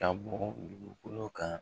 Ka bɔ dugukolo kan